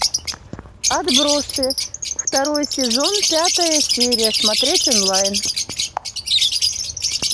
отбросы второй сезон пятая серия смотреть онлайн